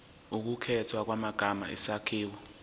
ukukhethwa kwamagama isakhiwo